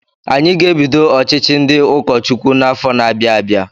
Anyị ga-ebido ọchịchị ndị ụkọ Chukwu n'afọ na-abịa abịa.